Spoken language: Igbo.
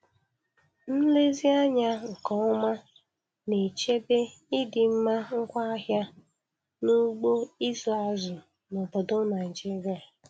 Nlezi anya nke ọma na-echebe ịdịmma ngwaahịa n'ugbo ịzụ azụ n'obodo Naịjiria